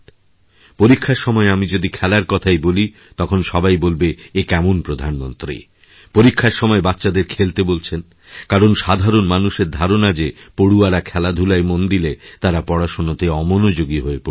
পরীক্ষার সময় আমি যদি খেলার কথাই বলি তখন সবাই বলবে একেমন প্রধানমন্ত্রী পরীক্ষার সময় বাচ্চাদের খেলতে বলছেন কারণ সাধারণ মানুষেরধারণা যে পড়ুয়ারা খেলাধূলায় মন দিলে তারা পড়াশোনাতে অমনোযোগী হয়ে পড়বে